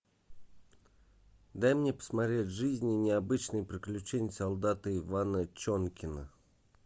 дай мне посмотреть жизнь и необычные приключения солдата ивана чонкина